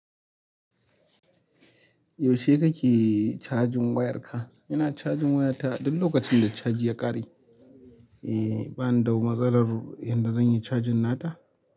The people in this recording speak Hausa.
Yaushe kake cajin wayarka? Ina cajin wayarta duk lokacin da caji ya kare. Eh, bani da wani matsalar yadda zan yi cajin nata.